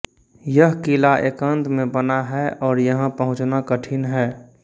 यह किला एकांत में बना है और यहां पहुंचना कठिन है